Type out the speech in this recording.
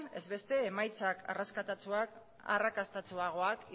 ez beste emaitzak arrakastatsuagoak